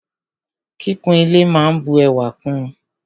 Kíkún ile máa n bu ẹwà kún ùn.